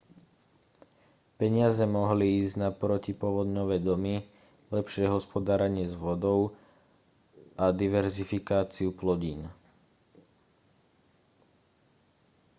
peniaze mohli ísť na protipovodňové domy lepšie hospodárenie s vodou a diverzifikáciu plodín